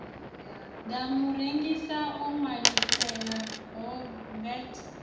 ḓa murengisi o ṅwaliselwaho vat